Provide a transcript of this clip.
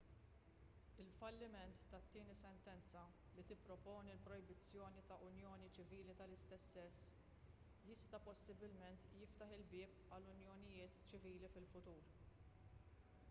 il-falliment tat-tieni sentenza li tipproponi l-projbizzjoni ta' unjonijiet ċivili tal-istess sess jista' possibilment jiftaħ il-bieb għal unjonijiet ċivili fil-futur